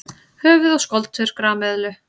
Höfuð og skoltur grameðlu.